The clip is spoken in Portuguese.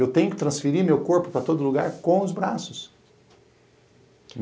Eu tenho que transferir meu corpo para todo lugar com os braços.